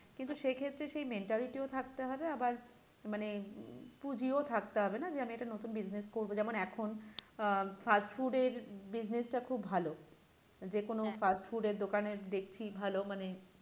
কিন্তু সেক্ষেত্রে সে mentality থাকতে হবে আবার মানে উম পুঁজিও থাকতে হবে যে আমি একটা নতুন business করবো যেমন এখন আহ fast food এর business টা খুব ভালো যেকোন fast food এর দোকানে দেখছি ভালো মানে